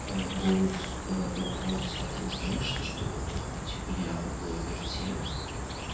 обоз вопрос а ты не знаешь что типа я в вирте